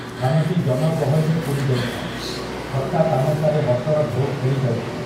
ସ୍ଥାନଟି ଜନଗହଳିରେ ପୂରି ଯାଇଥାଏ, ଥଟ୍ଟା ତାମସାରେ ହସର ଢେଉ ଖେଳି ଯାଉଥାଏ ।